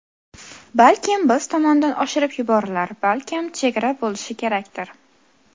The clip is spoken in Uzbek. Balkim biz tomondan oshirib yuborilar, balkim chegara bo‘lishi kerakdir.